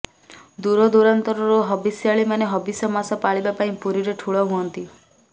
ଦୂରଦୂରାନ୍ତରୁ ହବିଷ୍ୟାଳିମାନେ ହବିଷ ମାସ ପାଳିବା ପାଇଁ ପୁରୀରେ ଠୁଳ ହୁଅନ୍ତି